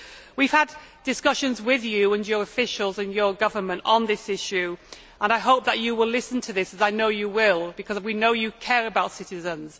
We have had discussions with you and your government and officials on this issue and I hope that you will listen to this as I know you will because we know you care about citizens